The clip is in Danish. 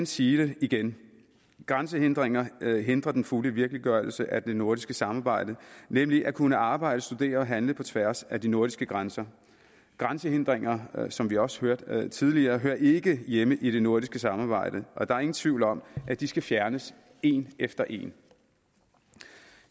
sige det igen grænsehindringer hindrer den fulde virkeliggørelse af det nordiske samarbejde nemlig at kunne arbejde studere og handle på tværs af de nordiske grænser grænsehindringer som vi også hørte tidligere hører ikke hjemme i det nordiske samarbejde og der er ingen tvivl om at de skal fjernes en efter en